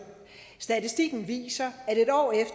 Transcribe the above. statistikken viser